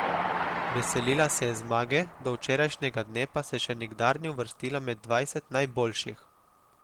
Veselila se je zmage, do včerajšnjega dne pa se še nikdar ni uvrstila med dvajset najboljših.